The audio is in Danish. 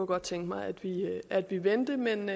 godt tænke mig at vi vendte men